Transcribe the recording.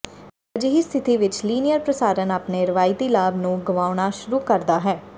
ਅਜਿਹੀ ਸਥਿਤੀ ਵਿਚ ਲੀਨੀਅਰ ਪ੍ਰਸਾਰਣ ਆਪਣੇ ਰਵਾਇਤੀ ਲਾਭ ਨੂੰ ਗਵਾਉਣਾ ਸ਼ੁਰੂ ਕਰਦਾ ਹੈ